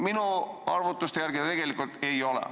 Minu arvutuste järgi tegelikult ei ole.